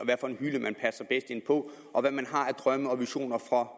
på og hvad man har af drømme og visioner for